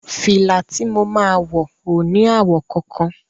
Fìlà ti mo máa wọ̀ ò ní àwọ̀ kankan.